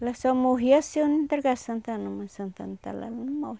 Ela só morria se eu não entregasse a Santa Ana, mas Santa Ana está lá, ela não morre.